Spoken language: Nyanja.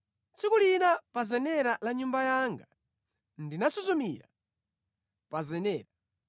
Tsiku lina pa zenera la nyumba yanga ndinasuzumira pa zenera.